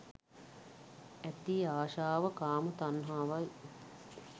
ඇති ආශාව කාම තණ්හාවයි.